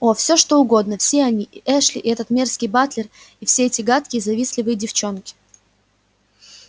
о все что угодно все они и эшли и этот мерзкий батлер и все эти гадкие завистливые девчонки